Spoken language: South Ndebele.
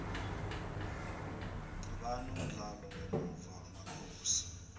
ngumani umdlali wemuva wamakhosi